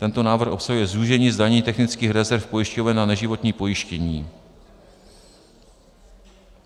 Tento návrh obsahuje zúžení zdanění technických rezerv pojišťoven na neživotní pojištění.